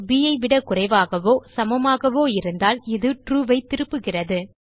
ப் ஐ விட குறைவாகவோ சமமாகவோ இருந்தால் இது ட்ரூ ஐ திருப்புகிறது